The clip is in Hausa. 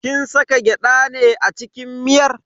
Kin saka gyada ne a cikin miyar?